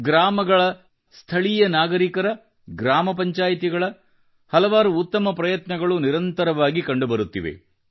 ಗ್ರಾಮಗಳ ಸ್ಥಳೀಯ ನಾಗರಿಕರ ಗ್ರಾಮ ಪಂಚಾಯ್ತಿಗಳ ಹಲವಾರು ಉತ್ತಮ ಪ್ರಯತ್ನಗಳು ನಿರಂತರವಾಗಿ ಕಂಡುಬರುತ್ತಿವೆ